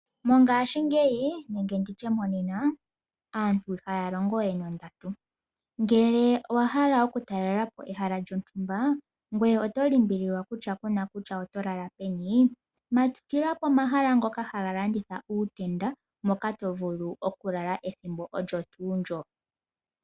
Mongashingeyi nenge nditye monena aantu ihaya longo we nondatu, ngele owa hala okutalelapo ehala lyontumba ngoye oto limbililwa kutya ku na kutya oto lala pe ni, matukila pomahala ngoka ha ga landitha uutenda moka to vulu oku lala ethimbo olyo tuu ndyo.